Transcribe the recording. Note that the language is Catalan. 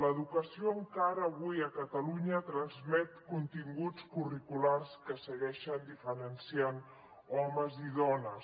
l’educació encara avui a catalunya transmet continguts curriculars que segueixen diferenciant homes i dones